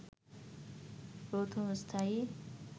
প্রথম স্থায়ী